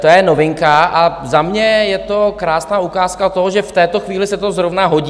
To je novinka a za mě je to krásná ukázka toho, že v této chvíli se to zrovna hodí.